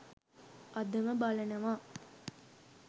අදම බලනවා